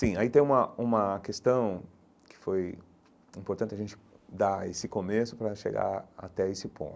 Sim, aí tem uma uma questão que foi importante a gente dar esse começo para chegar até esse